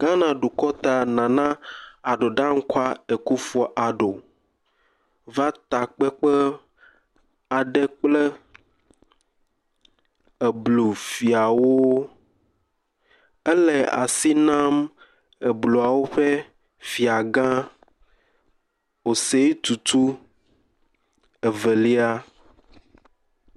Ghana dukɔ ta, Nana Addo Dankwa Akufu Addo va takpekpe aɖe kple Eblu fiawo. Ele asi nam Ebluawo ƒe fiagã, Osei Tutu II.